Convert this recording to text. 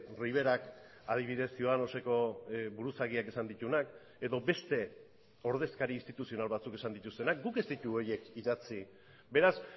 riverak adibidez ciudadanoseko buruzagiak esan dituenak edo beste ordezkari instituzional batzuk esan dituztenak guk ez ditugu horiek idatzi beraz